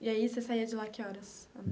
E aí, você saía de lá que horas?